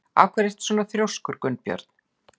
Af hverju ertu svona þrjóskur, Gunnbjörn?